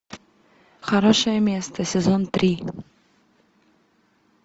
хорошее место сезон три